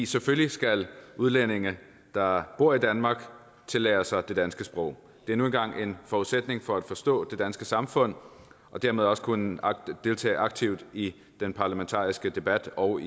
selvfølgelig skal udlændinge der bor i danmark tillære sig det danske sprog det er nu engang en forudsætning for at forstå det danske samfund og dermed også kunne deltage aktivt i den parlamentariske debat og